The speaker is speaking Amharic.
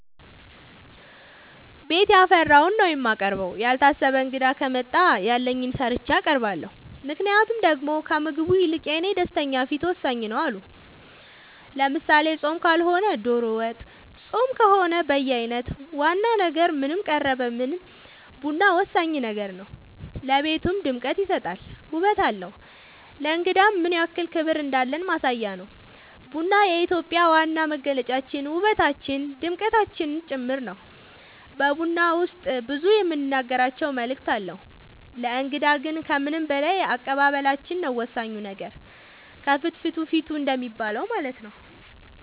ቤት ያፈራውን ነው የማቀርበው ያልታሰበ እንግዳ ከመጣ ያለኝን ሰርቼ አቀርባለሁ ምክንያቱም ደሞ ከምግቡ ይልቅ የኔ ደስተኛ ፊት ወሳኝ ነው አዎ አሉ ለምሳሌ ፆም ካልሆነ ዶሮ ወጥ ፆም ከሆነ በየአይነት ዋና ነገር ምንም ቀረበ ምንም ቡና ወሳኝ ነገር ነው ለቤቱ ድምቀት ይሰጣል ውበት አለው ለእንግዳም ምንያክል ክብር እንዳለን ማሳያ ነው ቡና የኢትዮጵያ ዋና መገለጫችን ውበታችን ድምቀታችን ጭምር ነው በቡና ውስጥ ብዙ የምንናገራቸው መልዕክት አለው ለእንግዳ ግን ከምንም በላይ አቀባበላችን ነው ወሳኙ ነገር ከፍትፍቱ ፊቱ እንደሚባለው ማለት ነው